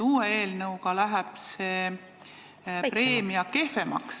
Uue eelnõu kohaselt läheb see nn preemia kehvemaks.